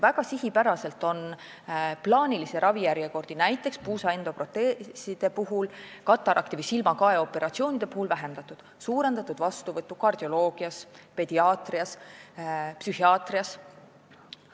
Väga sihipäraselt on näiteks puusaliigese endoproteesimise ja katarakti ehk silmakae operatsioonide plaanilisi ravijärjekordi lühendatud, suurendatud on vastuvõttu kardioloogias, pediaatrias, psühhiaatrias.